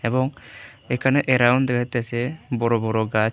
এবং এখানে অ্যারাউন্ড দেখাইতাসে বড় বড় গাছ--